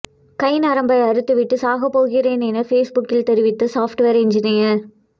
கைநரம்பை அறுத்துவிட்டு சாகப் போகிறேன் என ஃபேஸ்புக்கில் தெரிவித்த சாப்ட்வேர் என்ஜினியர்